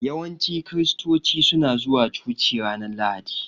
Yawanci kiristoci suna zuwa coci ranar Lahadi.